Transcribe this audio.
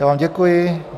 Já vám děkuji.